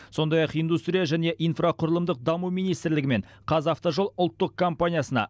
сондай ақ индустрия және инфрақұрылымдық даму министрлігі мен қазавтожол ұлттық компаниясына